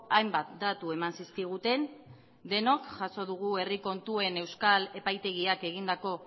hainbat datu eman zizkiguten denok jaso dugu herri kontuen euskal epaitegiak egindako